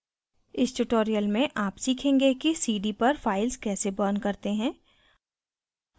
इस tutorial में आप सीखेंगे कि cd पर files कैसे burn करते हैं